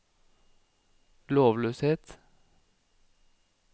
lovløshet